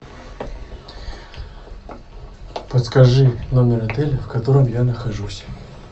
подскажи номер отеля в котором я нахожусь